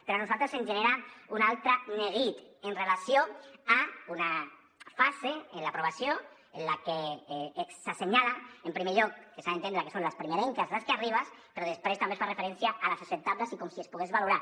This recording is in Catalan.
però a nosaltres ens genera un altre neguit amb relació a una fase en l’aprovació en la que s’assenyala en primer lloc que s’ha d’entendre que són les primerenques les que arribes però després també es fa referència a les acceptables i com si es pogués valorar